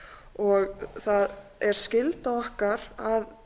og það er skylda okkar að